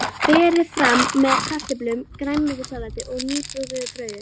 Berið fram með kartöflum, grænmetissalati og nýbökuðu brauði.